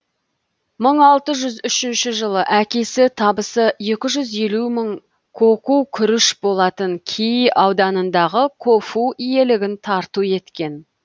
мың алты жүз үшінші жылы әкесі табысы екі жүз елу мың коку күріш болатын кии ауданындағы кофу иелігін тарту еткен